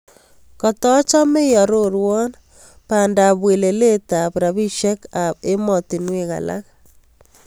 Katachame iarorwan bandap welelet ab rabishek ab ematinwek alak